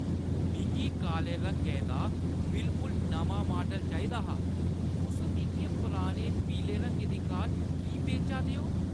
मिगी काले रंगै दा बिलकुल नमां माडल चाहिदा हा। तुस मिगी एह् पुरानी पीले रंगै दी कार की बेचा दे ओ?